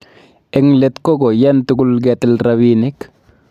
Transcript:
Eng let ko koiyan tugul ketil rabinik